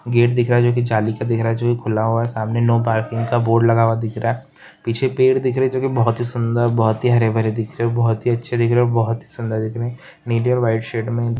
gate दिख रहा है जो की जाली का दिख रहा है जो खुला हुआ है सामने नो पार्किंग का बोर्ड लगा हुआ दिख रहा है पीछे पेड़ दिख रहे है जो की बहुत ही सुंदर बहुत ही हरे- भरे दिख रहे है बहुत ही अच्छे दिख रहे है बहुत ही सुंदर दिख रहे है नीले और वाइट शेड में--